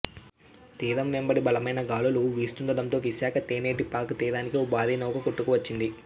తీరం వెంబడి బలమైన గాలులు వీస్తుండడంతో విశాఖ తెన్నేటి పార్క్ తీరానికి ఓ భారీ నౌక కొట్టుకువచ్చింది